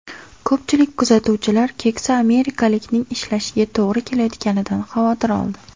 Ko‘pchilik kuzatuvchilar keksa amerikalikning ishlashiga to‘g‘ri kelayotganidan xavotir oldi.